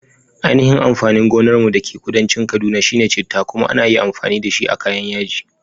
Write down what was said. Ainihin amfanin gonar mu da ke kudancin kaduna shine chitta, kuma ana iya amfani dashi a kayan yaji.